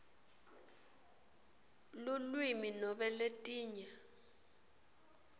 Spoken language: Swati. lulwimi nobe letinye